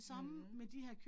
Mh